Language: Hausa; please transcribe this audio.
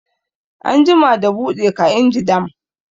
An jima da buɗe kainji dam